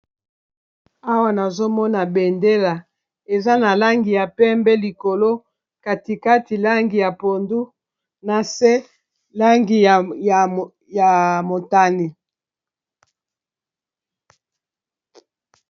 awa nazomona bendela eza na langi ya pembe likolo katikati langi ya pondu na se langi ya motani